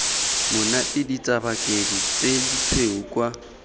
monate ditsabakedi tse ditshweu kwa